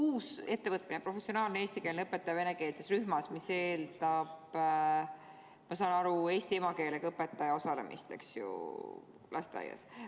Uus ettevõtmine, professionaalne eestikeelne õpetaja venekeelses rühmas eeldab, ma saan aru, eesti emakeelega õpetaja osalemist lasteaia töös.